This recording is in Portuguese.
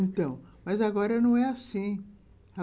Então, mas agora não é assim.